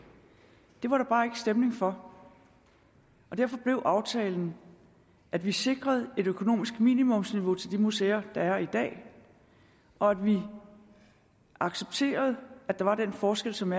stemning for derfor blev aftalen at vi sikrede et økonomisk minimumsniveau til de museer der er i dag og at vi accepterede at der var den forskel som